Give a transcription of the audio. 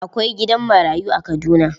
Akwai gidan marayu a Kaduna.